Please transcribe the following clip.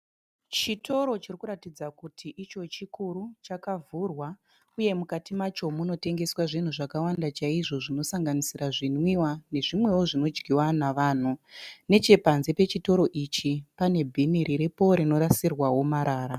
Chitoro chirikuratidza kuti icho chikuru chakavhurwa uye mukati macho munotengeswa zvakawanda chaizvo zvinosanganisirwa zvinwiwa nezvimwewo zvinodyiwa navanhu, nechepanze pechitoro ichi pane bhini riripo rinorasirwa marara.